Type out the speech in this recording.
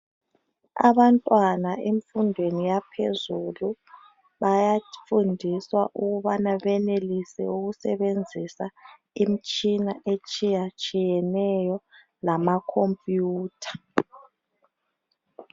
Abantwana emfundweni yaphezulu bayafundiswa ukuthi benelise ukusebenzisa imitshina etshiyatshiyeneyo lama khompiyutha.